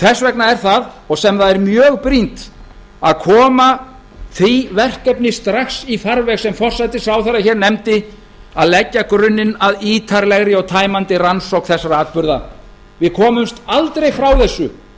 þess vegna er það sem það er mjög brýnt að koma því verkefni strax í farveg sem forsætisráðherra hér nefndi að leggja grunninn að ítarlegri og tæmandi rannsókn þessara atburða við komumst aldrei frá þessu